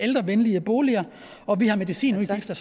ældrevenlige boliger og vi har medicinudgifter